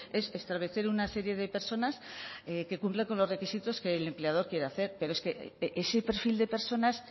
es establecer una serie de personas que cumple con los requisitos que el empleador quiere hacer pero es que ese perfil de personas